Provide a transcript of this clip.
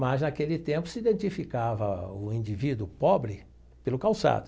Mas, naquele tempo, se identificava o indivíduo pobre pelo calçado.